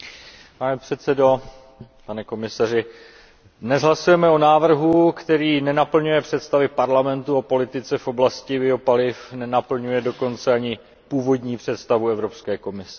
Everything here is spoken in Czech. Pane předsedající, pane komisaři, dnes hlasujeme o návrhu, který nenaplňuje představy Evropského parlamentu o politice v oblasti biopaliv, nenaplňuje dokonce ani původní představu Evropské komise.